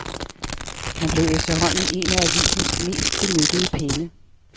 Han blev efterhånden en af avisens mest benyttede penne.